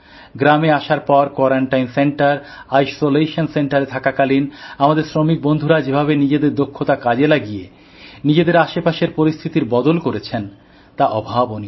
গ্রামে আসার পর কোয়ারান্টাইন সেন্টার আইসোলেশন সেন্টারে থাকাকালীন আমাদের শ্রমিক বন্ধুরা যেভাবে নিজের দক্ষতা কাজে লাগিয়ে নিজেদের আশপাশে পরিস্থিতি বদল করেছেন তা অভাবনীয়